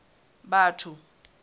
batho